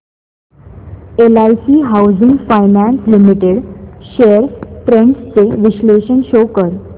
LIC housing finance limited shares trends चे विश्लेषण show कर